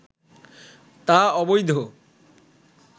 তা অবৈধ